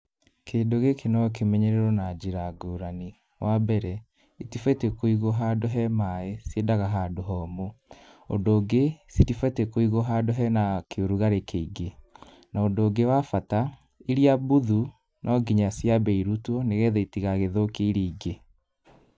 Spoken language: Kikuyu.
Kĩndũ gĩkĩ no kĩmenyererwo na njĩra ngũrani, wa mbere, gĩtibatiĩ kũigwo handũ he maaĩ, ciendaga handũ homũ, ũndũ ũngĩ citibatiĩ kũigwo handũ hena kĩũrugarĩ kĩingĩ, na ũndũ ũngĩ wa bata, iria mbuthu no nginya ciambe irutwo nĩ getha itigagĩthũkie iria ingĩ.